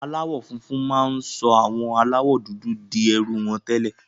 Àwọn aláwọ̀ funfun máa ń sọ àwọn aláwọ̀ dúdú di ẹrú wọn tẹ́lẹ̀.